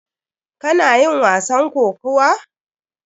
Kana yin wasan kokuwa?